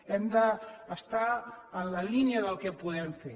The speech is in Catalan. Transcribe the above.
hem d’estar en la línia del que podem fer